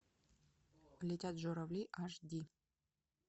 летят журавли аш ди